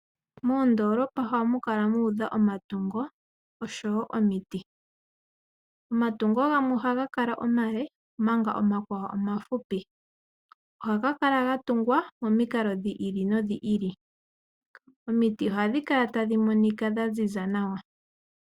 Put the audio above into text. Moondoolopa ohamu kalau udha omatungo oshowo omiti . Omatungo gamwe ohaga kala omale omanga omakwaqo omahupi . Ohaga kala ga tungwa momikalo dhi ili nodhi ili. Omiti ohadhi kala tadhi monika dhaziza nawa